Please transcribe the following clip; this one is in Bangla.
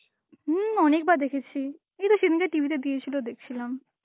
হম অনেকবার দেখেছি, এইতো সেদিনকে TV তে দিয়েছিল, দেখছিলাম.